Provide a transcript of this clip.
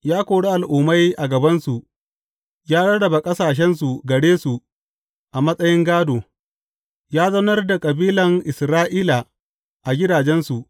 Ya kori al’ummai a gabansu ya rarraba ƙasashensu gare su a matsayin gādo; ya zaunar da kabilan Isra’ila a gidajensu.